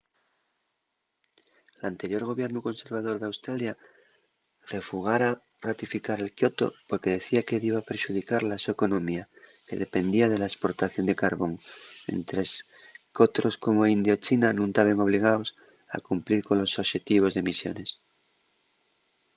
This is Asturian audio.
l'anterior gobiernu conservador d'australia refugara ratificar el kyoto porque decía que diba perxudicar la so economía que dependía de la esportación de carbón mientres qu'otros como india o china nun taben obligaos a cumplir colos oxetivos d'emisiones